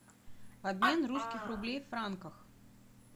обмен русских рублей в франках